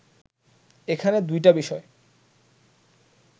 এখানে দুইটা বিষয়